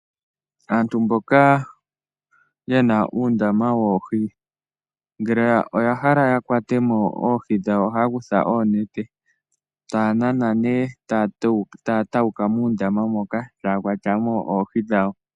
Aantu mboka yena uundama woohi, ngele oya hala ya kwatamo oohi dhawo oha ya kutha oonete, ta ya nana ne ta ya tawuka muundama moka, ta ya kwatamo oohi dhawo.